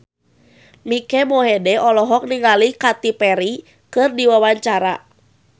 Mike Mohede olohok ningali Katy Perry keur diwawancara